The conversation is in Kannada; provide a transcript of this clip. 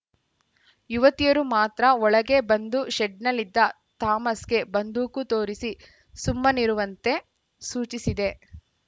ಯುವತಿಯರು ಮಾತ್ರ ಒಳಗೆ ಬಂದು ಶೆಡ್‌ನಲ್ಲಿದ್ದ ಥಾಮಸ್‌ಗೆ ಬಂದೂಕು ತೋರಿಸಿ ಸುಮ್ಮನಿರುವಂತೆ ಸೂಚಿಸಿದೆ